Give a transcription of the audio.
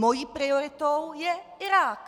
Mojí prioritou je Irák!